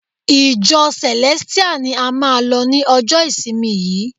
Ìjọ Celestial ni a máà lọ ni ọjọ ìsinmi yìí.